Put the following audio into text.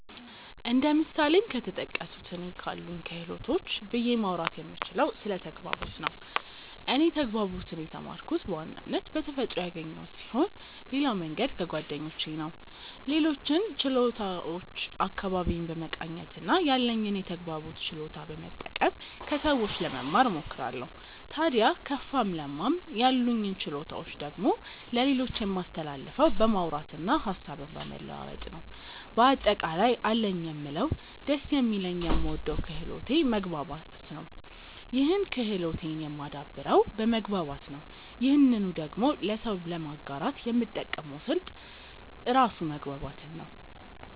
እንደ ምሳሌም ከተጠቀሱት እኔ ካሉኝ ክህሎቶች ብዬ ማውራት የምችለው ስለ ተግባቦት ነው። እኔ ተግባቦትን የተማርኩት በዋናነት በተፈጥሮ ያገኘሁት ስሆን ሌላው መንገድ ከጓደኞቼ ነው። ሌሎችን ችሎታዎች አካባቢዬን በመቃኘት እና ያለኝን የተግባቦት ችሎታ በመጠቀም ከሰዎች ለመማ እሞክራለው። ታድያ ከፋም ለማም ያሉኝን ችሎታዎች ደግሞ ለሌሎች የማስተላልፈው በማውራት እና ሀሳብን በመለዋወጥ ነው። በአጠቃላይ አለኝ የምለው ደስ የሚለኝ የምወደው ክህሎቴ መግባባት ነው ይህን ክህሎቴን የማደብረው በመግባባት ነው ይህንኑ ደግሞ ለሰው ለማጋራት የምጠቀመው ስልት ራሱ መግባባትን ነው።